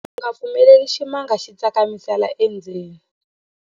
U nga pfumeleli ximanga xi tsakamisela endzeni.